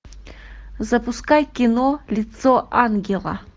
запускай кино лицо ангела